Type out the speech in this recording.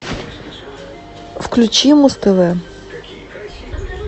включи муз тв